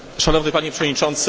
Panie Przewodniczący!